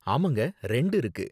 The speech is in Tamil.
ஆமாங்க, ரெண்டு இருக்கு.